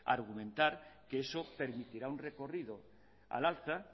argumentar que eso permitirá un recorrido al alza